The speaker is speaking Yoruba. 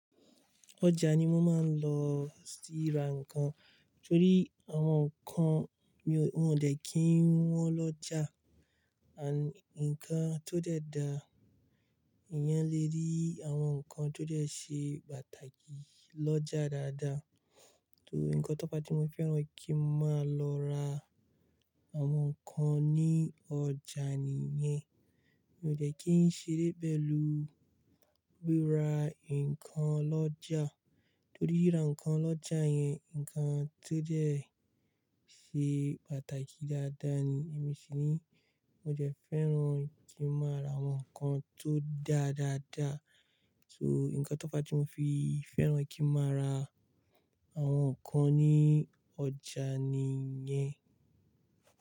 Ọjà ni wọ́n máa ń lọ sí ra nǹkan, torí àwọn nǹkan mi, wọn ò dẹ́ kí wọ́n lọ́jà. Àń, ǹkan tó dẹ̀ da, èèyàn lè rí àwọn nǹkan tó dẹ́ ṣe pàtàkì lọ́jà dáadáa. Torí ǹkan tó fa tí mo fẹ́ràn kí ń máa lọ ra àwọn nǹkan ní ọjà nìyẹn, mi ò dẹ́ kí ń ṣéré pélù rí ra nǹkan lọ́jà. Torí ríra nǹkan lọ́jà yẹn, ǹkan tó dẹ̀ ṣe pàtàkì dáadáa ni. Torí ǹkan tó fa tí mo fẹ́ràn kí i máa lọ ra àwọn nǹkan ní ọjà nìyẹn, mi ò dẹ́ kí ń ṣeré pélù rí ra nǹkan lọ́jà. So, ǹkan tó fa tí mo fi fẹ́ràn kí n máa ra àwon nkán ní ójá níyen.